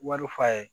Wari fa ye